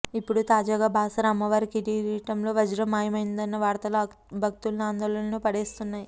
ఇపుడు తాజాగా బాసర అమ్మవారి కిరీటంలో వజ్రం మాయమైందన్న వార్తలు భక్తుల్ని ఆందోళనలో పాడేస్తున్నాయి